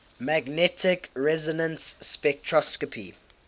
magnetic resonance spectroscopy